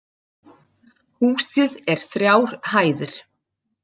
Húsið er þrjár hæðir